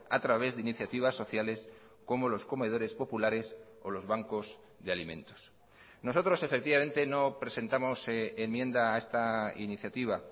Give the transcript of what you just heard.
a través de iniciativas sociales como los comedores populares o los bancos de alimentos nosotros efectivamente no presentamos enmienda a esta iniciativa